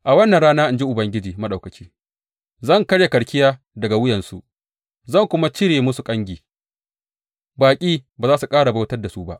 A wannan rana,’ in ji Ubangiji Maɗaukaki, Zan karya karkiya daga wuyansu zan kuma cire musu kangi; baƙi ba za su ƙara bautar da su ba.